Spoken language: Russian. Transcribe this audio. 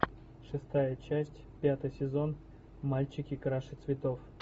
шестая часть пятый сезон мальчики краше цветов